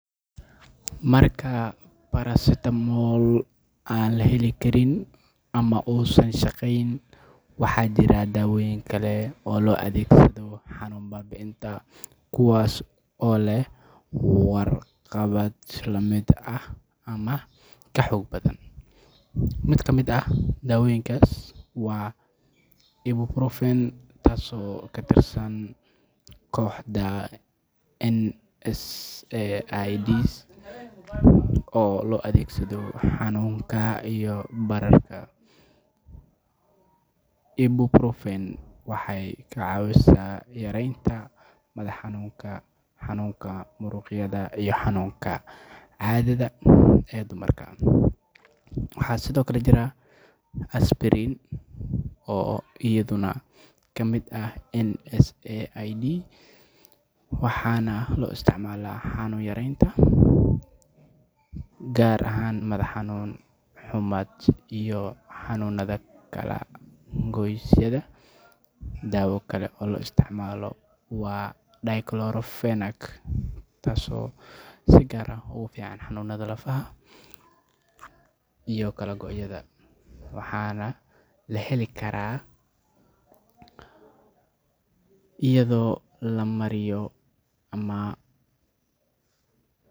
Marka paracetamol aan la heli karin ama uusan shaqayn, waxaa jira dawooyin kale oo loo adeegsado xanuun baabi’inta kuwaas oo leh waxqabad la mid ah ama ka xoog badan. Mid ka mid ah daawooyinkaas waa ibuprofen, taasoo ka tirsan kooxda NSAIDs oo loo adeegsado xanuunka iyo bararka. Ibuprofen waxay ka caawisaa yareynta madax xanuunka, xanuunka muruqyada, iyo xanuunka caadada ee dumarka. Waxaa sidoo kale jira aspirin, oo iyaduna ka mid ah NSAIDs, waxaana loo isticmaalaa xanuun yareynta, gaar ahaan madax xanuun, xumad, iyo xanuunada kala goysyada. Dawo kale oo la isticmaalo waa diclofenac, taasoo si gaar ah ugu fiican xanuunada lafaha iyo kala goysyada, waxaana la heli karaa iyadoo la mariyo ama.